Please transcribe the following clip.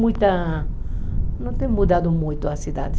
Muita mas não tem mudado muito a cidade.